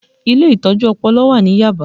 Ilé Ìtọ́jú Ọpọlọ wà ní Yaba